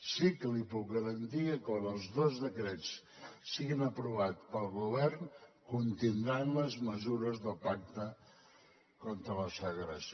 sí que li puc garantir que quan els dos decrets siguin aprovats pel govern contindran les mesures del pacte contra la segregació